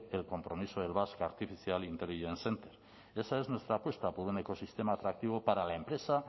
el compromiso del basque artificial intelligence center esa es nuestra apuesta por un ecosistema atractivo para la empresa